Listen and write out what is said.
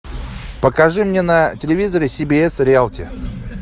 покажи мне на телевизоре си би эс реалти